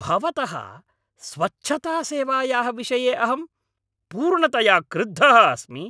भवतः स्वच्छतासेवायाः विषये अहं पूर्णतया क्रुद्धः अस्मि।